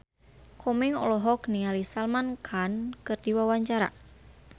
Komeng olohok ningali Salman Khan keur diwawancara